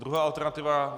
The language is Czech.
Druhá alternativa.